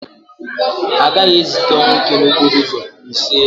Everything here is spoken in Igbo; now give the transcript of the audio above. Ha agaghị ezite ọnwụike n'okporo ụzọ, iseee!